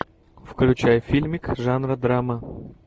включай фильмик жанра драма